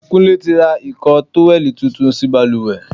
Kúnlé tí ra ìko tówẹ́lì tuntun sí bàlùwẹ̀.